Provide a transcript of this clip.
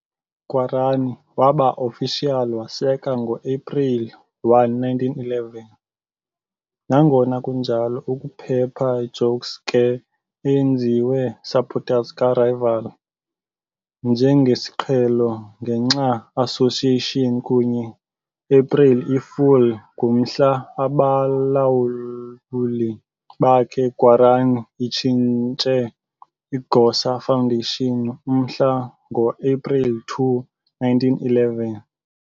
Guarani waba officially waseka ngoaprili 1, 1911, nangona kunjalo ukuphepha jokes ke eyenziwe supporters ka-rival njengesiqhelo ngenxa association kunye epreli i-fool ngu Mhla, abalawuli bakhe Guarani itshintshe igosa foundation umhla ngoaprili 2, 1911.